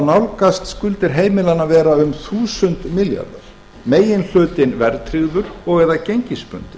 nálgast skuldir heimilanna að vera um þúsund milljarðar meginhlutinn verðtryggður og eða